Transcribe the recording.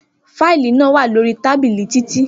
Fáìlì naa wa lori tábìlì Titi.